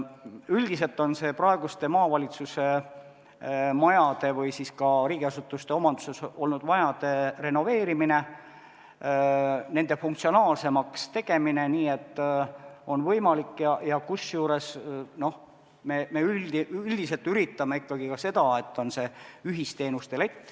Üldiselt on see praeguste maavalitsuse majade või ka riigiasutuste omanduses olnud majade renoveerimine, nende funktsionaalsemaks tegemine, kusjuures me üritame ikkagi ka seda, et oleks ühisteenuste lett.